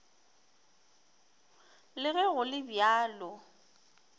le ge go le bjalo